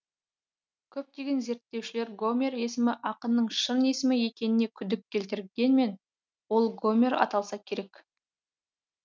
көптеген зерттеушілер гомер есімі ақынның шын есімі екеніне күдік келтіргенмен ол гомер аталса керек